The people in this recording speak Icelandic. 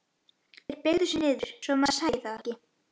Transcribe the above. Þeir beygðu sig niður svo að maðurinn sæi þá ekki.